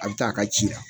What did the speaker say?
A bɛ taa a ka ci la